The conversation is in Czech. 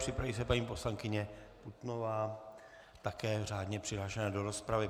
Připraví se paní poslankyně Putnová, také řádně přihlášená do rozpravy.